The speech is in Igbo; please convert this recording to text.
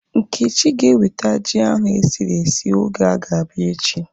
Nkechi ga eweta ji ahu esiri esi oge ọ ga-abịa echi